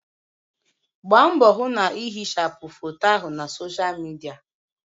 Gbaa mbọ hụ na ihichapụ foto ahụ nọ na Sọsha Midia.!